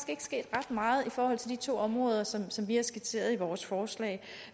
meget i forhold til de to områder som som vi har skitseret i vores forslag